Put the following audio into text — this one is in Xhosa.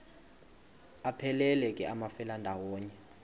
aphelela ke amafelandawonye